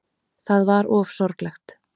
Það var of sorglegt.